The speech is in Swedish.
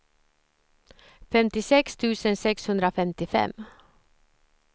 femtiosex tusen sexhundrafemtiofem